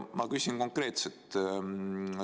Ma küsin konkreetselt.